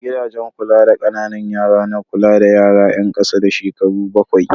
Gidajen kula da ƙananan yara na kula da yara yan ƙasa da shekaru bakwai.